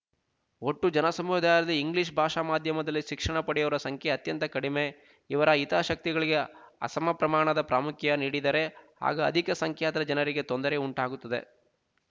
ಒಟ್ಟು ಜನಸಮುದಾಯದಲ್ಲಿ ಇಂಗ್ಲೀಷ್ ಭಾಷಾ ಮಾಧ್ಯಮದಲ್ಲಿ ಶಿಕ್ಷಣ ಪಡೆಯುವವರ ಸಂಖ್ಯೆ ಅತ್ಯಂತ ಕಡಿಮೆ ಇವರ ಹಿತಾ ಶಕ್ತಿಗಳಿಗೆ ಅಸಮಪ್ರಮಾಣದ ಪ್ರಾಮುಖ್ಯ ನೀಡಿದರೆ ಆಗ ಅಧಿಕ ಸಂಖ್ಯಾತ ಜನರಿಗೆ ತೊಂದರೆಯುಂಟಾಗುತ್ತದೆ